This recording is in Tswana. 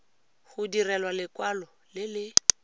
go direlwa lekwalo le le